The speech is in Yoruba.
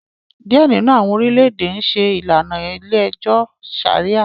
Diẹ nínú awọn orilẹ-ède n ṣe ìlànà ilé-ẹjọ Sharia